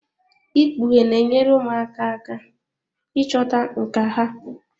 Ikpughe na-enyere ụmụaka aka ịchọta nkà ha.